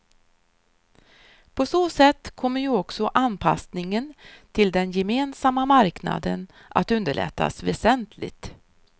På så sätt kommer ju också anpassningen till den gemensamma marknaden att underlättas väsentligt.